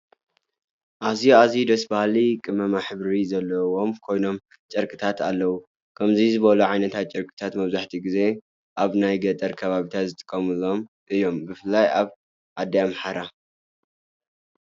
ኣዝዩ! ኣዝዩ! ደስ ባሀሊ ቅመማቅ ሕብሪ ዘለዎም ኮይኖም ፤ ጨርቂታት ኣለው። ከምዙይ ዝበሉ ዓይነታት ጨርቂታት መብዛሕቲኡ ግዜ ኣብ ናይ ገጠር ከባቢታት ዝጥቀምሎም እዩም ብፍላይ ኣብ ኣዲ ኣምሓራ።